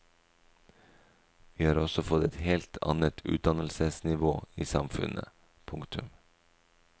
Vi har også fått et helt annet utdannelsesnivå i samfunnet. punktum